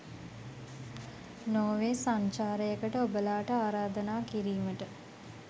Norway සංචාරයකට ඔබලාට ආරාධනා කිරීමට